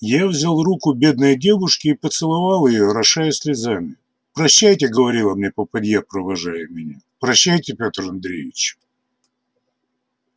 я взял руку бедной девушки и поцеловал её орошая слезами прощайте говорила мне попадья провожая меня прощайте пётр андреич